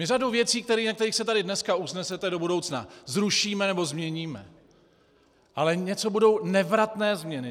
My řadu věcí, na kterých se tady dneska usnesete, do budoucna zrušíme nebo změníme, ale něco budou nevratné změny.